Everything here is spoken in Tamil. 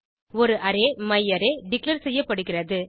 ஒரு அரே மையாரே டிக்ளேர் செய்யப்படுகிறது